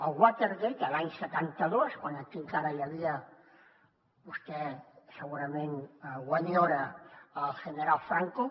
el watergate l’any setanta dos quan aquí encara hi havia vostè segurament ho enyora el general franco